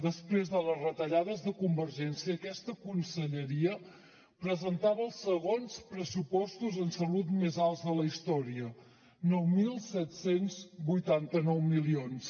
després de les retallades de convergència aquesta conselleria presentava els segons pressupostos en salut més alts de la història nou mil set cents i vuitanta nou milions